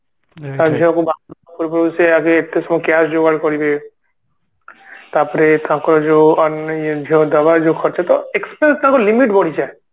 ସେ ଏତେ ଯୋଉ cash ଯୋଗାଡ କରିବେ ତାପରେ ତାଙ୍କର ଯୋଉ ଝିଅ ଦବା ଯୋଉ ଖର୍ଚ ଟା ଟା ଲିମିଟ ବଢିଯାଏ